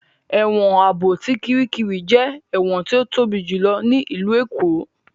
Ẹ̀wọ̀n Ààbò ti Kiríkirì jẹ́ ẹ̀wọ̀n tí ó tóbi jùlọ ní ìlú Èkó